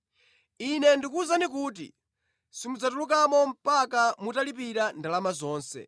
Ine ndikuwuzani kuti, simudzatulukamo mpaka mutalipira ndalama zonse.”